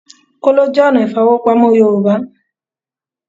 Kóló jẹ́ ọ̀nà ìfowópamọ́ Yorùbá